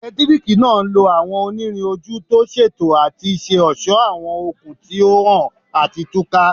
Eletiriki naa nlo awọn onirin oju ti o ṣeto ati ṣe ọṣọ awọn okun ti o han ati tuka